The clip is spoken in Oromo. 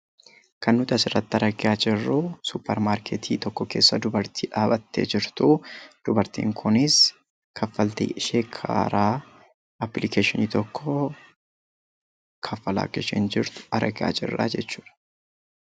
Kan nuti asirratti argaa jirru suupper maarketii tokko keessa dubartii dhaabattee jirtu. Dubartiin kunis kaffaltii ishee karaa appilikeeshinii tokkoo kaffalaa akka isheen jirtu argaa jirraa jechuudha.